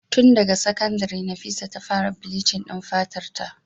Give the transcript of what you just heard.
Tun daga sakandire Nafisa ta fara bleaching din fatarta.